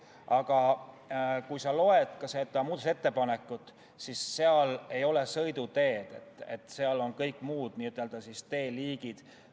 Aga kui sa loed seda muudatusettepanekut, siis seal ei ole nimetatud sõiduteed, seal on kõik muud n-ö teeliigid.